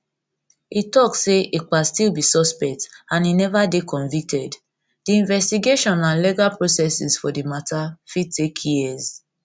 e tok say ekpa still be suspect and e never dey convicted di investigation investigation and legal process for di matter fit take years